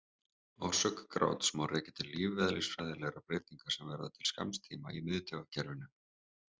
Orsök gráts má rekja til lífeðlisfræðilegra breytinga sem verða til skamms tíma í miðtaugakerfinu.